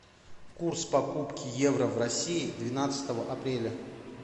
курс покупки евро в россии двенадцатого апреля